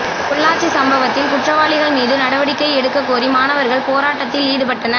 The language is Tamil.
பொள்ளாச்சி சம்பவத்தில் குற்றவாளிகள் மீது நடவடிக்கை எடுக்ககோரி மாணவர்கள் போராட்டத்தில் ஈடுபட்டனர்